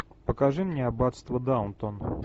покажи мне аббатство даунтон